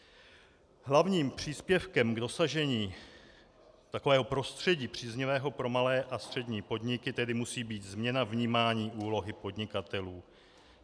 Hlavním příspěvkem k dosažení takového prostředí příznivého pro malé a střední podniky tedy musí být změna vnímání úlohy podnikatelů.